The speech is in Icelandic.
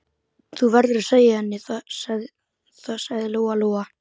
Þú verður að segja henni það, sagði Lóa-Lóa.